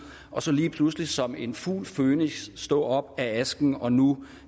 og så lige pludselig som en fugl føniks stå op af asken og nu